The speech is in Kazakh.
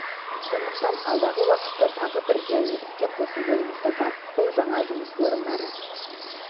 емес сондықтан алдағы уақытта тағы бір желіні іске қосу ойымызда бар бұл жаңа жұмыс орындары